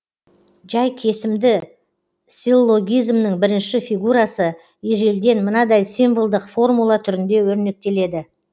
жай кесімді силлогизмнің бірінші фигурасы ежелден мынадай символдық формула түрінде өрнектеледі